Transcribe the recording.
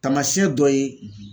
Taamasiyɛn dɔ ye